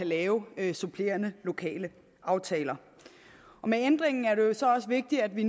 lave supplerende lokale aftaler med ændringen er det jo så også vigtigt at vi